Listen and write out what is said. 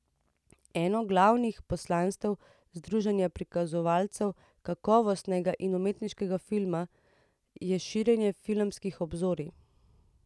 Eno glavnih poslanstev združenja prikazovalcev kakovostnega in umetniškega filma je širjenje filmskih obzorij.